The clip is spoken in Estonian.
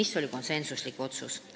See oli konsensuslik otsus.